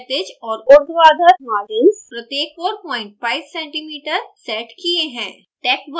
मैंने क्षैतिज और उर्ध्वाधर margins प्रत्येक 45 cm set किये हैं